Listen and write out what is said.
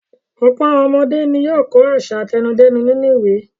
Ọ̀pọ̀ àwọn ọmọdé ni yóò ka àṣà àtẹnudẹ́nu nínú ìwé.